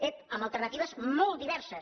ep amb alternatives molt diverses